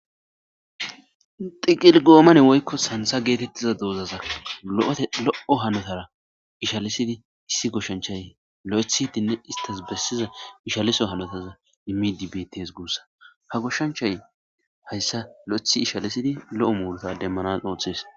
Xiqil goomane woykko santha geetetiza doozata lo'ote lo'o hanotaara ishalsidi issi goshanchay loythidenne istas bessiza ishaliso hanotan immide beettes guussa ha goshanchay hayssa loythi ishalsidi lo''o muruta demmanas oothes.